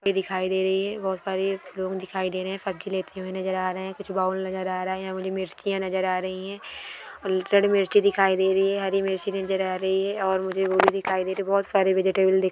दिखाई दे रही है बहुत सारी लोग दिखाई दे रहे नज़र आ रहे है कुछ बाउल नज़र आ रहा है यहा मुझे मिरचिया नज़र आ रही है मिर्ची दिखाई दे रही है हरी मिर्ची नज़र आ रही है और मुझे वो भी दिखाई दे रही बहुत सारे वेजिटेबल दि--